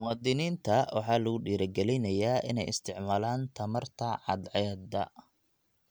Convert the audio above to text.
Muwaadiniinta waxaa lagu dhiirigelinayaa inay isticmaalaan tamarta cadceedda.